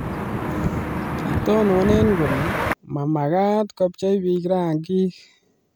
kitonone kole ma mekat kobchei biik rangik